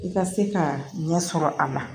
I ka se ka ɲɛ sɔrɔ a la